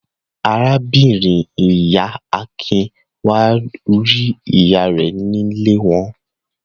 Arábìnrin-ìyá Akin wá rí ìyá rẹ̀ nílé wọn.